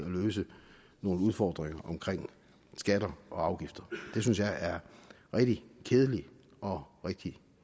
løse nogle udfordringer omkring skatter og afgifter det synes jeg er rigtig kedeligt og rigtig